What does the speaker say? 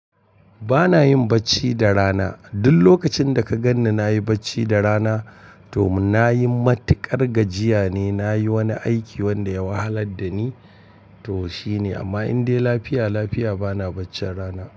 Ba na yin bacci da rana. Duk lokacin da ka ganni na yi bacci da rana, to na yi matuƙar gajiya ne, na yi wani aiki wanda ya wahalar da ni, to shi ne. Amma in dai lafiya lafiya, ba na bacci rana.